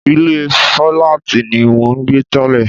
Ilé fíláàtì ni mò ń gbé tẹ́lẹ̀